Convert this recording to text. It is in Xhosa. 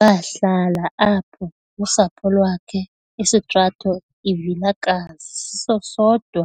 Wahlala apho nosapho lwakhe istrato iVilakazi siso sodwa